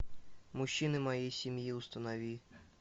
мужчины моей семьи установи